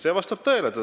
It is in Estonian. See vastab tõele.